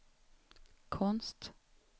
konst